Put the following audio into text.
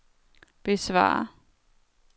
besvar